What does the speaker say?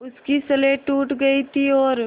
उसकी स्लेट टूट गई थी और